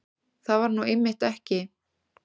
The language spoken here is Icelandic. Það var nú einmitt ekki